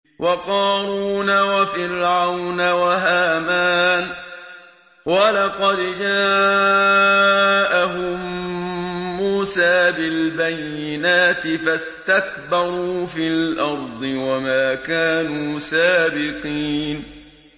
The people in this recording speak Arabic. وَقَارُونَ وَفِرْعَوْنَ وَهَامَانَ ۖ وَلَقَدْ جَاءَهُم مُّوسَىٰ بِالْبَيِّنَاتِ فَاسْتَكْبَرُوا فِي الْأَرْضِ وَمَا كَانُوا سَابِقِينَ